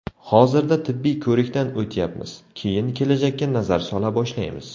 Hozirda tibbiy ko‘rikdan o‘tyapmiz, keyin kelajakka nazar sola boshlaymiz.